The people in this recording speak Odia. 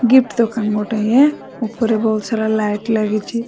ଗିଫ୍ଟ ଦୋକାନ ଗୋଟେ ୟେ ଉପରେ ବହୁତ ସାରା ଲାଇଟ୍ ଲାଗିଛି ।